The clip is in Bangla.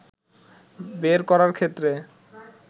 বের করার ক্ষেত্রে